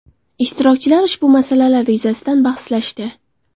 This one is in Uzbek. Ishtirokchilar ushbu masalalar yuzasidan bahslashdi.